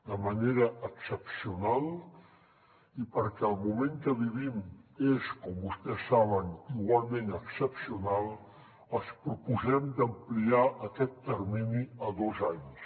de manera excepcional i perquè el moment que vivim és com vostès saben igualment excepcional els proposem d’ampliar aquest termini a dos anys